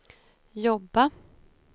jobba